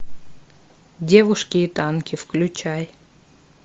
девушки и танки включай